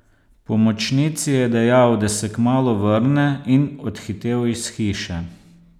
Pomočnici je dejal, da se kmalu vrne, in odhitel iz hiše.